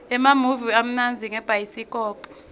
emamuvi amnandza ngabhayisikobho